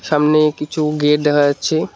সামনে কিছু গেট দেখা যাচ্ছে।